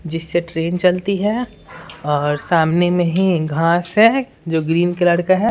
जिससे ट्रेन चलती है और सामने में ही घास है जो ग्रीन कलर का है।